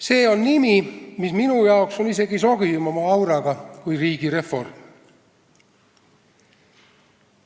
See sõna on minu arvates isegi sobivama auraga kui "riigireform".